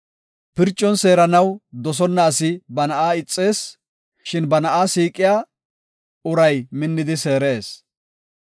Pircon seeranaw dosonna asi ba na7aa ixees; shin ba na7aa siiqiya uray minnidi seerees.